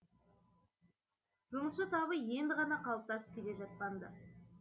жұмысшы табы енді ғана қалыптасып келе жатқан ды